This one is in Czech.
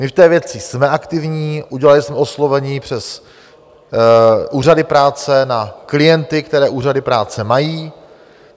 My v té věci jsme aktivní, udělali jsme oslovení přes úřady práce na klienty, které úřady práce mají.